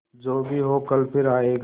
जो भी हो कल फिर आएगा